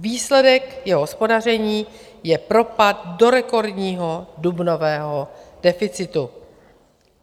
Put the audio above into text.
Výsledek jeho hospodaření je propad do rekordního dubnového deficitu.